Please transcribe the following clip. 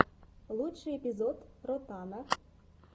лучший эпизод ротана